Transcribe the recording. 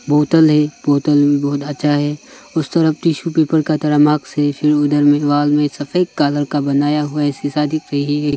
बोतल है बोतल में बहुत अच्छा है उस तरफ टिशू पेपर के तरह मास्क है फिर उधर वॉल में सफेद कालर कलर का बनाया हुआ शीशा दिख रही है।